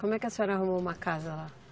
Como é que a senhora arrumou uma casa lá?